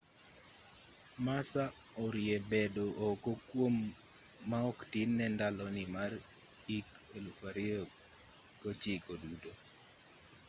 massa orie bedo oko kuom ma oktin ne ndaloni mar hik 2009 duto